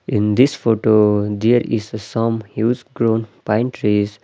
In this photo there is a some huge grown pine trees .